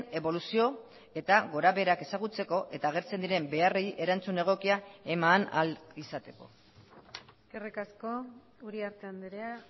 eboluzio eta gora beherak ezagutzeko eta agertzen diren beharrei erantzun egokia eman ahal izateko eskerrik asko uriarte andrea